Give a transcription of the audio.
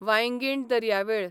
वांयगीण दर्यावेळ